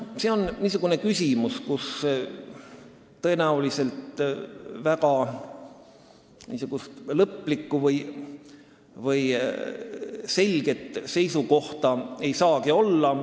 See on küsimus, kus tõenäoliselt lõplikku või selget seisukohta ei saagi olla.